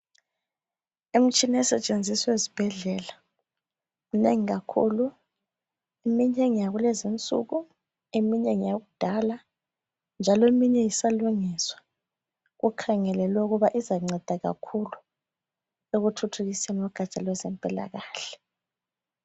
Imitshina esetshenziswa ezibhedlela minengi kakhulu. Eminye ngayakulezinsuku, eminye ngeyakudala njalo eminye isalungiswa. Kukhangelelwe ukuba izancedakakhulu ekuthuthukiseni kugatsha lwezempilakahle.